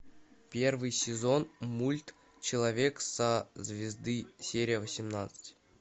первый сезон мульт человек со звезды серия восемнадцать